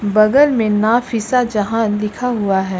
बगल में नाफीसा जहां लिखा हुआ है।